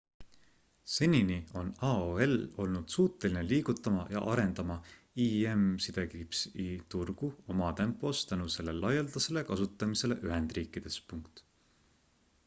senini on aol olnud suuteline liigutama ja arendama im-i turgu oma tempos tänu selle laialdasele kasutamisele ühendriikides